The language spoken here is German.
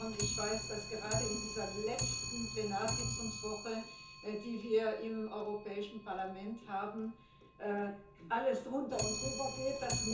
Und ich weiß, dass gerade in dieser letzten Plenarsitzungswoche, die wir im Europäischen Parlament haben, alles drunter und drüber geht.